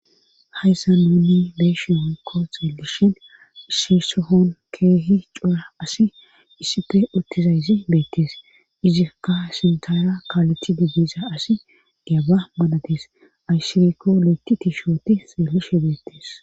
hayssa nuuni beeshi hon ko txeelishin shisohon keehi cura asi issipfe uttizayzi beettees izikka sintaara kaaleti diggiza asi deaba manatees ayshirekko lo7ti tishooti seelishe beettees